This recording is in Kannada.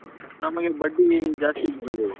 ನಮ್ಗೆ ಬಡ್ಡಿ ಜಾಸ್ತಿ ಬರಬೌದು